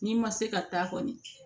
N'i ma se ka taa kɔni